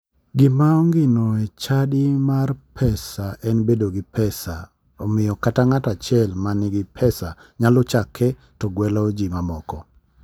Gima ongino e chadi mar pesa en bedo gi pesa omiyo kata ng'ato achiel ma nigi pesa nyalo chake to ogwelo ji ma moko.